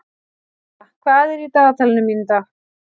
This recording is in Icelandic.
Martha, hvað er í dagatalinu mínu í dag?